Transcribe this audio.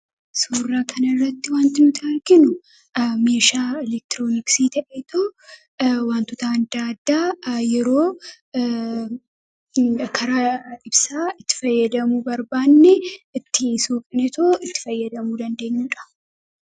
Suuraa Kana irratti kan argaa jirru meeshaalee elektirooniksii dha. Meeshaaleen kun faayidaa madaalamuu hin dandeenye fi bakka bu’iinsa hin qabne qaba. Jireenya guyyaa guyyaa keessatti ta’ee, karoora yeroo dheeraa milkeessuu keessatti gahee olaanaa taphata. Faayidaan isaa kallattii tokko qofaan osoo hin taane, karaalee garaa garaatiin ibsamuu danda'a.